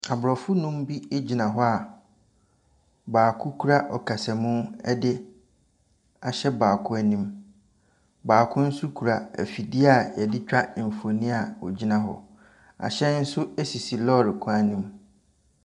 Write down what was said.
Abrɔfo nnum bi egyina hɔ a, baako kura akasamu de ahyɛ baako anim. Baako nso kura fidie yɛdetwa nfonni a ɔgyina hɔ. Ahyɛn nso esisi lɔri kwan no mu.